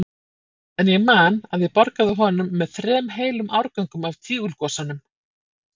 En ég man að ég borgaði honum með þrem heilum árgöngum af Tígulgosanum.